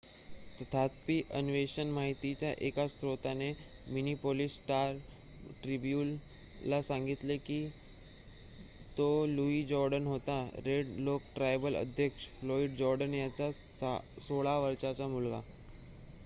तथापि अन्वेषण माहितीच्या एका स्त्रोताने मिनिपोलीस स्टार ट्रिब्युन ला सांगितलेकी तो लुईस जोर्डन होता रेड लेक ट्रायबल अध्यक्ष फ्लोईड जोर्डन यांचा 16 वर्षाचा मुलगा